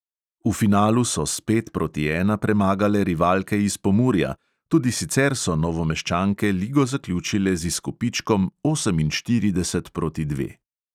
V finalu so s pet proti ena premagale rivalke iz pomurja, tudi sicer so novomeščanke ligo zaključile z izkupičkom oseminštirideset proti dve.